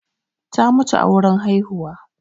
ta mutu a wurin haihuwa